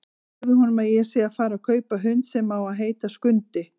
Segðu honum að ég sé að fara að kaupa hund sem á að heita Skundi!